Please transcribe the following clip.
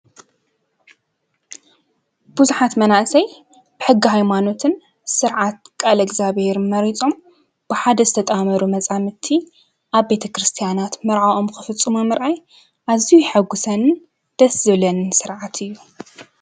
ብዙሓት መናእሰይ ሕጊ ሃይማኖትን ስርዓት ቃለ እግዚአብሔርን መሪፆም ብሓደ ዝተጣመሩ መፃምድቲ አብ ቤተክርስቲያናት መርዕኦም ንክፍፅሙ ምርኣይ ኣዝዩ የሐጉሰንን ደስ ዝብለንን ስርዓት እዩ።